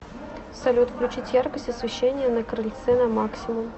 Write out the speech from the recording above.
салют включить яркость освещения на крыльце на максимум